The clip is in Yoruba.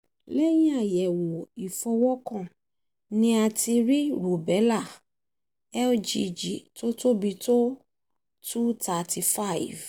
lẹ́yìn àyẹ̀wò ìfọwọ́kàn ni a ti rí rùbẹ́là lgg tó tóbi tó two thirty five